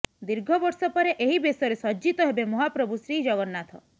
ଦୀର୍ଘ ବର୍ଷ ପରେ ଏହି ବେଶରେ ସଜ୍ଜିତ ହେବେ ମହାପ୍ରଭୁ ଶ୍ରୀଜଗନ୍ନାଥ